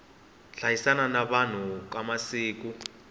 hanyisana ka vanhu ka siku